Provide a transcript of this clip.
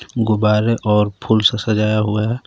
गुब्बारे और फूल से सजाया हुआ है।